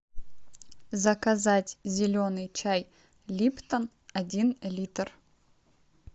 заказать зеленый чай липтон один литр